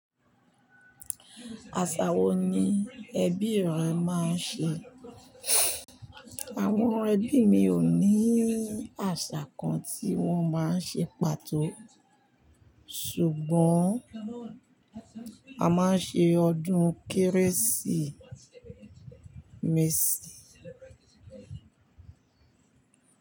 Àṣà wo ni ẹbí rẹ máa ń ṣe? Àwọn ẹbí mi ò ní àṣà kan tí wọ́n máa ń ṣe pàtó. Ṣùgbọ́n a máa ń ṣe ọdún Kérésìmesì.